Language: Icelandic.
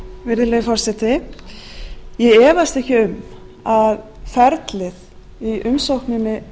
virðulegi forseti ég efast ekki um að ferlið í umsókninni